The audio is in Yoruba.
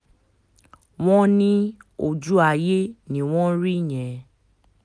wọ́n ní ojú ayé ni wọ́n rí yẹn